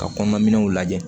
Ka kɔnɔnaw lajɛ